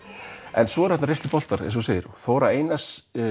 en svo voru þarna reynsluboltar Þóra Einarsdóttir